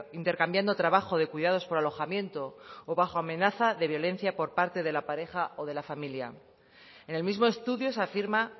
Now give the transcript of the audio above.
intercambiando trabajo de cuidados por alojamiento o bajo amenaza de violencia por parte de la pareja o de la familia en el mismo estudio se afirma